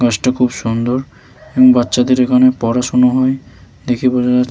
বাসটা খুব সুন্দর এবং বাচ্চাদের এখানে পড়াশুনা হয়। দেখে বুঝা যা --